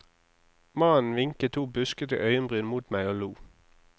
Mannen vinket to buskete øyenbryn mot meg og lo.